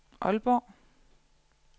Aalborg